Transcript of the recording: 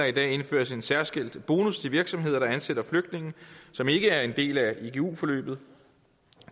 i dag indføres en særskilt bonus til virksomheder der ansætter flygtninge som ikke er en del af igu forløbet